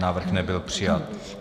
Návrh nebyl přijat.